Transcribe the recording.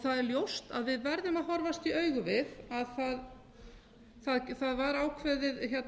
það er ljóst að við verðum að horfast í augu við að það var ákveðið